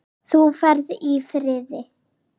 Þú ferð í friði.